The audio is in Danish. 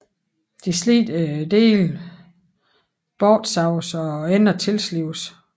De slidte dele bortsaves og enderne tilslibes